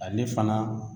Ale fana